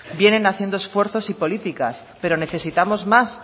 vienen haciendo esfuerzos y políticas pero necesitamos más